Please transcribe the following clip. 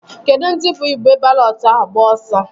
Kedụ ndị bụ igbe balọtụ ahụ agba ọsọ?